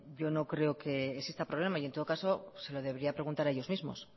yo no creo que exista problema y en todo caso se lo debería preguntar a ellos mismos